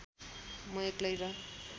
म एक्लै र